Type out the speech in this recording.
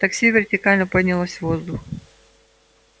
такси вертикально поднялось в воздух